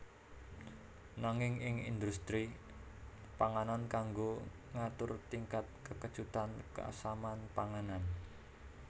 Nanging ing indhustri panganan kanggo ngatur tingkat kekecutan keasaman panganan